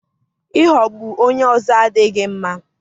ịghọgbu onye ọzọ adịghị mma.